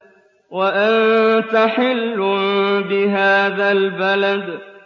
وَأَنتَ حِلٌّ بِهَٰذَا الْبَلَدِ